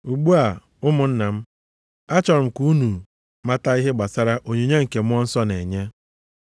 Ugbu a ụmụnna m, achọrọ m ka unu mata ihe gbasara onyinye nke Mmụọ Nsọ na-enye.